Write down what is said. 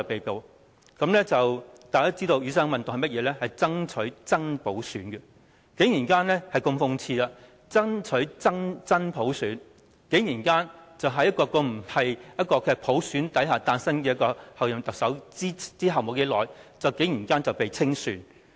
大家都知道，雨傘運動是爭取真普選的，但如此諷刺的是，爭取真普選的人竟然在一位不是由普選產生的候任特首產生後不久便被清算。